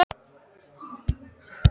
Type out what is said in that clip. Ég fékk mér vænan bita og leit yfir dæmin.